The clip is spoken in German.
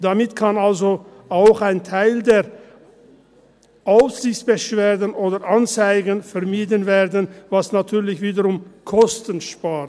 Damit kann also auch ein Teil der Aufsichtsbeschwerden oder Anzeigen vermieden werden, was natürlich wiederum Kosten spart.